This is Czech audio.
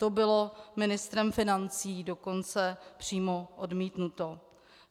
To bylo ministrem financí dokonce přímo odmítnuto.